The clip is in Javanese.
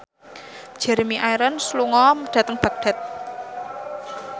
Jeremy Irons lunga dhateng Baghdad